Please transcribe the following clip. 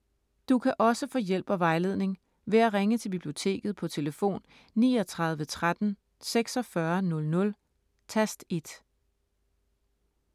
Du kan også få hjælp og vejledning ved at ringe til Biblioteket på tlf. 39 13 46 00, tast 1.